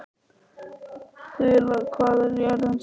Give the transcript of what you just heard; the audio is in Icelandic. Þula, hvað er jörðin stór?